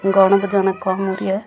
गाना बजाना काम हो रिया है।